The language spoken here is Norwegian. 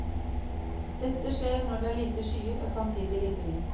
Dette skjer når det er lite skyer og samtidig lite vind.